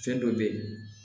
Fɛn dɔ be ye